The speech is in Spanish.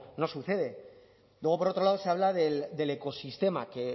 no sucede luego por otro lado se habla del ecosistema que